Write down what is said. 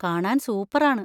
കാണാൻ സൂപ്പറാണ്.